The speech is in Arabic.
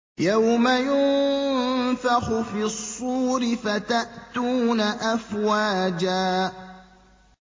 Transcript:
يَوْمَ يُنفَخُ فِي الصُّورِ فَتَأْتُونَ أَفْوَاجًا